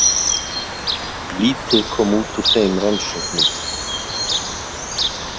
Lítið kom út úr þeim rannsóknum.